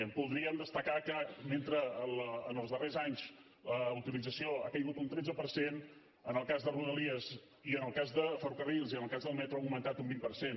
voldríem destacar que mentre que en els darrers anys la utilització ha caigut un tretze per cent en el cas de rodalies en el cas de ferrocarrils i en el cas del metro ha augmentat un vint per cent